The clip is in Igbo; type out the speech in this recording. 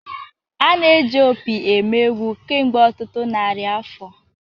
A na-eji opi eme egwu kemgbe ọtụtụ narị afọ.